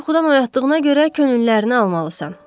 Bunları yuxudan oyatdığına görə könüllərini almalısan.